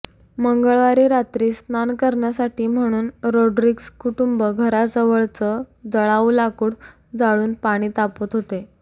मंगळवारी रात्री स्नान करण्यासाठी म्हणून रोड्रिग्स कुटूंब घराजवळच जळाऊ लाकूड जळून पाणी तापवत होते